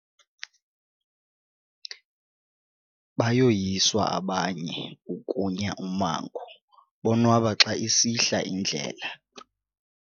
Bayoyiswa abanye ukunya ummango bonwaba xa isihla indlela.